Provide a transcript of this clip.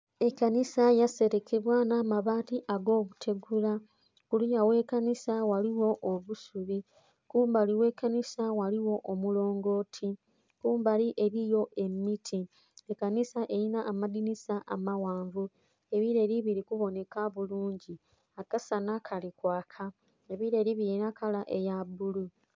Ekanisa ya serekebwa nha mabati go butegula kuliya ghe kanisa ghaligho obusubi, kumbali ghe kanisa ghaligho omulongoti kumbali eriyo emiti. Ekanisa erina amadhinisa amaghanvu, ebileeli biri kubonheka bulungi. Akasanha kali kwaka, ebileeli bilina ekala eya bbulu.